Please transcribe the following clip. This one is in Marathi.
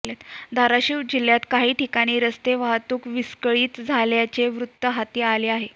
धाराशिव जिल्ह्यात काही ठिकाणी रस्ते वाहतूक विस्कळीत झाल्याचे वृत्त हाती आले आहे